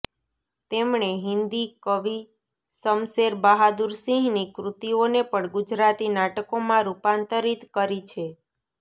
તેમણે હિન્દી કવિ શમશેર બહાદુર સિંહની કૃતિઓને પણ ગુજરાતી નાટકોમાં રૂપાંતરીત કરી છે